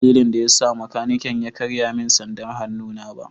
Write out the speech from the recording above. Ban san dalilin da ya sa makanikin ya karye min sandar hannuna ba.